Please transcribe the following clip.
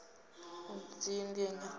u dzinginya maga a u